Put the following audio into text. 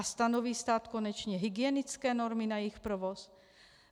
A stanoví stát konečně hygienické normy na jejich provoz?